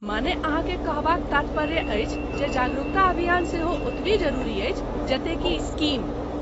माने ,अहाँके कहबाक तात्पर्य अछि जे जागरूकता अभियान सेहो ओतबि जरुरी अछि जते कि स्कीम।